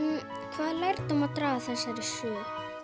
hvaða lærdóm má draga